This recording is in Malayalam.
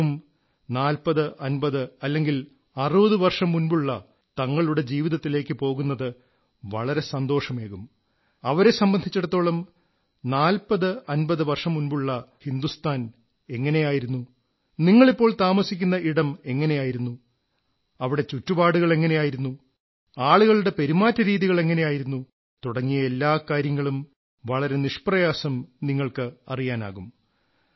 അവർക്കും 4050 വർഷം 60 വർഷം മുമ്പത്തെ തങ്ങളുടെ ജീവിതത്തിലേക്കു പോകുന്നത് വളരെ സന്തോഷമേകും അവരെ സംബന്ധിച്ചിടത്തോളം 4050 വർഷങ്ങൾ മുമ്പിലത്തെ ഹിന്ദുസ്ഥാൻ എങ്ങനെയായിരുന്നു നിങ്ങളിപ്പോൾ താമസിക്കുന്ന ഇടം എങ്ങനെയായിരുന്നു അവിടെ ചുറ്റുപാടുകൾ എങ്ങനെയായിരുന്നു അളുകളുടെ പെരുമാറ്റ രീതികൾ എങ്ങനെയായിരുന്നു തുടങ്ങിയ എല്ലാ കാര്യങ്ങളും വളരെ നിഷ്പ്രയാസം നിങ്ങൾക്ക് അറിയാനാകും